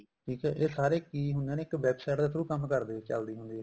ਠੀਕ ਆ ਇਹ ਸਾਰੇ ਕੀ ਹੁੰਦੇ ਨੇ website ਦੇ through ਚੱਲਦੀ ਹੁੰਦੀ ਆ